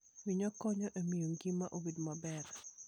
Winyo konyo e miyo ngima obed maber.